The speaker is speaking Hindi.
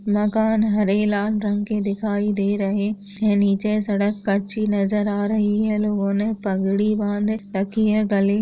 मकान हरे लाल रंग के दिखाई दे रहे नीचे सड़क कच्ची नजर आ रही हैं ये लोगोने पगड़ी बांध रखी हैं गले--